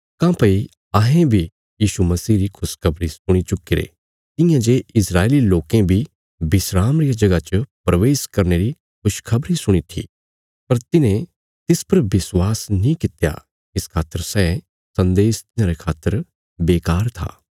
काँह्भई अहें बी यीशु मसीह री खुशखबरी सुणी चुक्कीरे तियां जे इस्राएली लोकें बी विस्राम रिया जगह च प्रवेश करने री खुशखबरी सुणी थी पर तिन्हें तिस पर विश्वास नीं कित्या इस खातर सै सन्देश तिन्हांरे खातर बेकार था